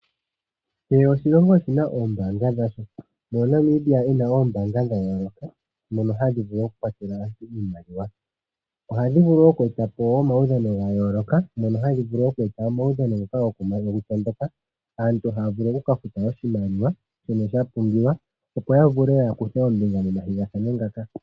Kehe oshilongo oshina oombaanga dhasho moka Namibia ena oombaanga dhayooloka dhoka hadhi vulu okukwatela aantu iimaliwa, ohadhi vulu wo okweta po omaudhan gayooloka moka hadhi vulu oku eta omaudhano ngoka gokutondoka, aantu haya vulu okukafuta oshimaliwa shoka shapungulwa opo yavule okukutha ombinga momathigathano ngaka.